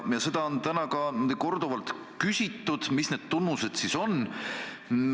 Ja on ka korduvalt küsitud, mis need tunnused siis on.